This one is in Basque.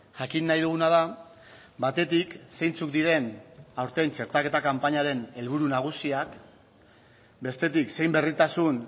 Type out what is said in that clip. jakin nahi duguna da batetik zeintzuk diren aurten txertaketa kanpainaren helburu nagusiak bestetik zein berritasun